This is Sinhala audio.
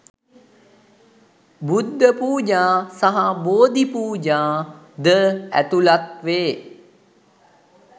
බුද්ධ පූජා සහ බෝධි පූජා ද ඇතුළත් වේ.